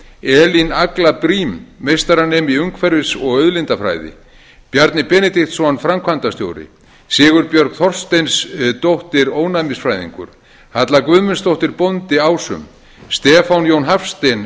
elín agla briem meistaranemi í umhverfis og auðlindafræði bjarni benediktsson framkvæmdastjóri sigurbjörg þorsteinsdóttir ónæmisfræðingur halla guðmundsdóttir bóndi ásum stefán jón hafstein